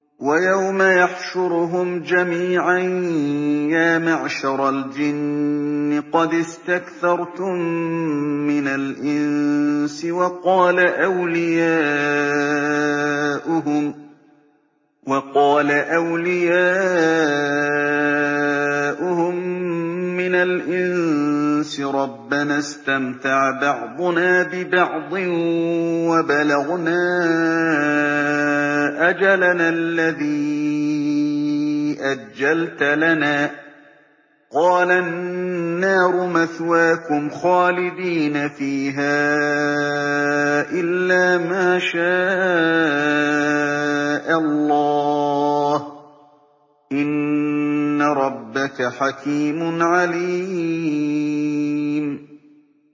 وَيَوْمَ يَحْشُرُهُمْ جَمِيعًا يَا مَعْشَرَ الْجِنِّ قَدِ اسْتَكْثَرْتُم مِّنَ الْإِنسِ ۖ وَقَالَ أَوْلِيَاؤُهُم مِّنَ الْإِنسِ رَبَّنَا اسْتَمْتَعَ بَعْضُنَا بِبَعْضٍ وَبَلَغْنَا أَجَلَنَا الَّذِي أَجَّلْتَ لَنَا ۚ قَالَ النَّارُ مَثْوَاكُمْ خَالِدِينَ فِيهَا إِلَّا مَا شَاءَ اللَّهُ ۗ إِنَّ رَبَّكَ حَكِيمٌ عَلِيمٌ